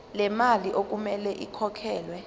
lemali okumele ikhokhelwe